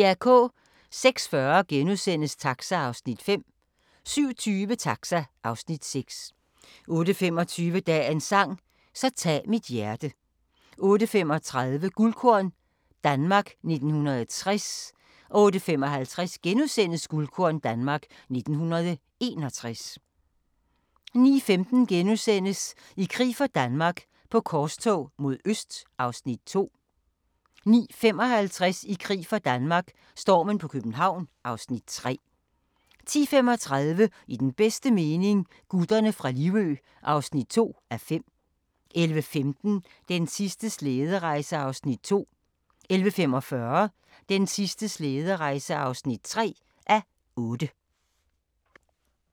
06:40: Taxa (Afs. 5)* 07:20: Taxa (Afs. 6) 08:25: Dagens sang: Så tag mit hjerte 08:35: Guldkorn - Danmark 1960 08:55: Guldkorn - Danmark 1961 * 09:15: I krig for Danmark - på korstog mod øst (Afs. 2)* 09:55: I krig for Danmark - stormen på København (Afs. 3) 10:35: I den bedste mening – Gutterne fra Livø (2:5) 11:15: Den sidste slæderejse (2:8) 11:45: Den sidste slæderejse (3:8)